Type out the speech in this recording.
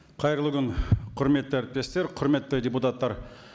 қайырлы күн құрметті әріптестер құрметті депутаттар